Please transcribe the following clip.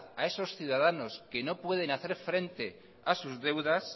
a esos ciudadanos que no pueden hacer frente a sus deudas